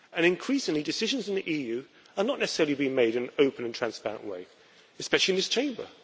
Increasingly, decisions in the EU are not necessarily being made in an open and transparent way, especially in this Chamber.